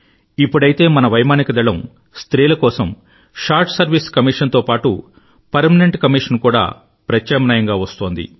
ఇప్పుడైతే మన వైమానిక దళం స్త్రీల కోసం షార్ట్ సర్వైస్ కమీషన్ తో పాటూ పెర్మానెంట్ commissionను కూడా ప్రత్యామ్నాయంగా ఇస్తోంది